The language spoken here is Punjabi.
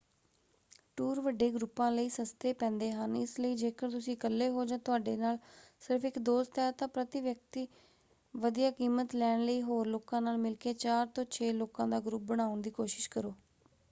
ਟੂਰ ਵੱਡੇ ਗਰੁੱਪਾਂ ਲਈ ਸਸਤੇ ਪੈਂਦੇ ਹਨ ਇਸ ਲਈ ਜੇਕਰ ਤੁਸੀਂ ਇੱਕਲੇ ਹੋ ਜਾਂ ਤੁਹਾਡੇ ਨਾਲ ਸਿਰਫ਼ ਇੱਕ ਦੋਸਤ ਹੈ ਤਾਂ ਪ੍ਰਤੀ-ਵਿਅਕਤੀ ਵਧੀਆ ਕੀਮਤ ਲੈਣ ਲਈ ਹੋਰ ਲੋਕਾਂ ਨਾਲ ਮਿਲ ਕੇ ਚਾਰ ਤੋਂ ਛੇ ਲੋਕਾਂ ਦਾ ਗਰੁੱਪ ਬਣਾਉਣ ਦੀ ਕੋਸ਼ਿਸ਼ ਕਰੋ।